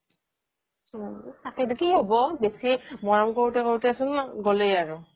তাকেই কি হব বেছি মৰম কৰোতে কৰোতে চোন গ'লেই আৰু